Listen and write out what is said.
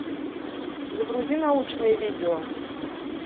загрузи научные видео